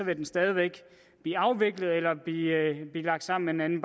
vil den stadig væk blive afviklet eller blive lagt sammen med en